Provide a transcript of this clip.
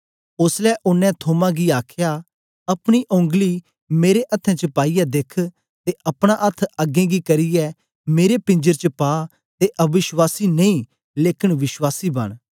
ओसलै ओनें थोमा गी आखया अपनी ओंगली मेरे अथ्थें च पाईयै देख ते अपना अथ्थ अगें गी करियै मेरे पींजर च पा ते अवश्वासी नेई लेकन विश्वासी बन